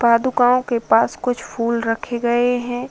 पदुकाओं के पास कुछ फूल रखे गए हैं।